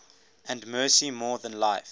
and mercy more than life